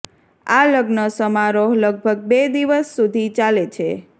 આ લગ્ન સમારોહ લગભગ બે દિવસ સુધી ચાલે છે